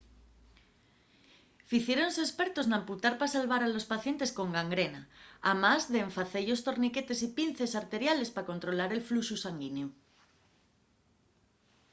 ficiéronse espertos n'amputar pa salvar a los pacientes con gangrena amás d'en face-yos torniquetes y pinces arteriales pa controlar el fluxu sanguineu